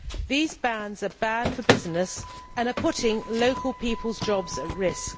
These bans are bad for business and are putting local people's jobs at risk.